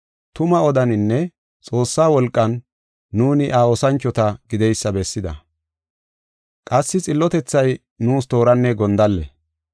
tumaa odaninne Xoossaa wolqan nuuni iya oosanchota gideysa bessida. Qassi xillotethay nuus tooranne gondalle.